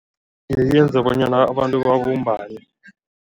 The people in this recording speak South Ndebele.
Yenza bonyana abantu babumbane.